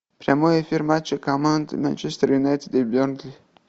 прямой эфир матча команд манчестер юнайтед и бернли